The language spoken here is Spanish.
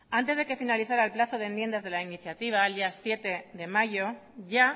antes de que finalizara el plazo de enmiendas de la iniciativa el día siete de mayo ya